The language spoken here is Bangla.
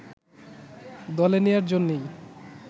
দলে নেয়ার জন্যই